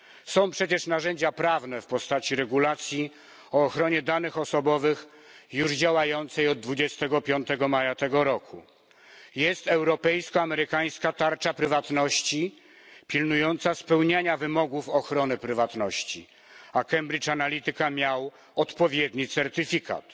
Są przecież narzędzia prawne w postaci regulacji o ochronie danych osobowych już działającej od 25 maja tego roku, jest europejsko amerykańska tarcza prywatności pilnująca spełniania wymogów ochrony prywatności, a Cambridge Analytica miał odpowiedni certyfikat.